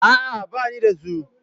A'a, ba ni da su.